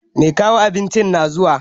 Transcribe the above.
Mai kawo abincin na zuwa